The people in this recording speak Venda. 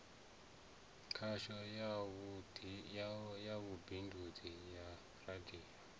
khasho ya vhubindudzi ya radio